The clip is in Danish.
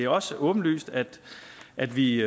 også åbenlyst at at vi